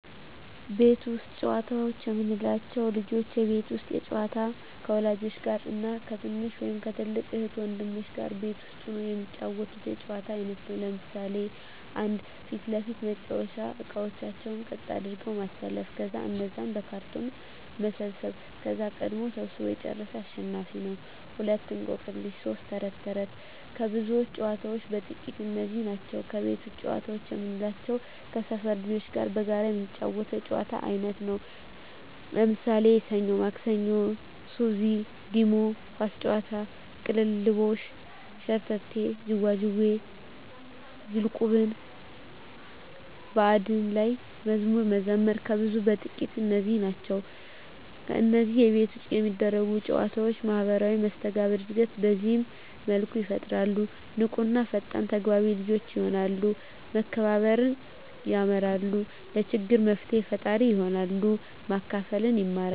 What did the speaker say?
ቤት ውስጥ ጨዋታዎች የምንላቸው፦ ልጆች የቤት ውስጥ ጨዋታ ከወላጆች ጋር እና ከትንሽ ወይም ከትልቅ እህት ወንድሞቻቸው ጋር ቤት ውስጥ ሁነው የሚጫወቱት የጨዋታ አይነት ነው። ለምሣሌ 1. ፊት ለፊት መጫዎቻ እቃቃዎችን ቀጥ አድርጎ ማሠለፍ ከዛ እነዛን በካርቶን መሰብሠብ ከዛ ቀድሞ ሠብስቦ የጨረሠ አሸናፊ ነው፤ 2. እቆቅልሽ 3. ተረት ተረት ከብዙዎች ጨዋታዎች በጥቃቱ እነዚህ ናቸው። ከቤት ውጭ ጨዋታ የምንላቸው ከሠፈር ልጆች ጋር በጋራ የምንጫወተው የጨዋታ አይነት ነው። ለምሣሌ፦ ሠኞ ማክሠኞ፤ ሱዚ፤ ዲሞ፤ ኳስ ጨዋታ፤ ቅልልቦሽ፤ ሸርተቴ፤ ዥዋዥዌ፤ ዝልቁብ፤ በአንድ ላይ መዝሙር መዘመር ከብዙዎቹ በጥቂቱ እነዚህ ናቸው። ከነዚህ ከቤት ውጭ ከሚደረጉ ጨዎች ማህበራዊ መስተጋብር እድገት በዚህ መልኩ ይፈጠራል። ንቁ እና ፈጣን ተግባቢ ልጆች የሆናሉ፤ መከባበር የማራሉ፤ ለችግር መፍትሔ ፈጣሪ ይሆናሉ፤ ማካፈልን ይማራ፤